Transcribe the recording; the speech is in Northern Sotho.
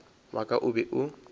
wa ka o be o